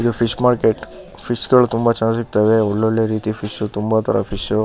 ಇದು fish market fish ಗಳು ತುಂಬಾ ಚೆನ್ನಾಗ್ ಸಿಗ್ತವೆ. ಒಳ್ ಒಳ್ಳೆ ಫಿಶ್ ತುಂಬಾ ತರದ ಫಿಶ್ --